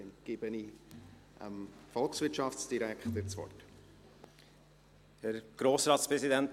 Dann gebe ich dem Volkswirtschaftsdirektor das Wort.